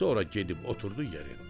Sonra gedib oturdu yerində.